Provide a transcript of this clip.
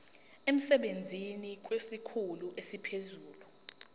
emsebenzini kwesikhulu esiphezulu